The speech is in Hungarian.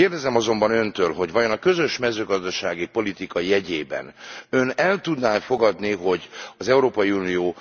Kérdezem azonban öntől, hogy vajon a közös mezőgazdasági politika jegyében ön el tudná e fogadni, hogy az Európai Unió